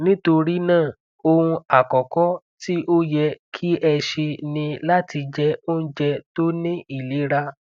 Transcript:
nitorinaa ohun akọkọ ti o yẹ ki ẹ ṣe ni lati jẹ ounjẹ to ni ilera